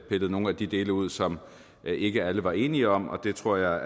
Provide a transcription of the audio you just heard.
pillet nogle af de dele ud som ikke alle var enige om og det tror jeg er